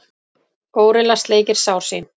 Górilla sleikir sár sín.